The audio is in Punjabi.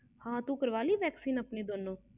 ਹਾਂ ਤੂੰ ਕਰ ਵਾਲੀ vaccination ਦੋਨੂੰ